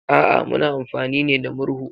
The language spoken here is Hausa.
A'a, muna amfani ne da murhu.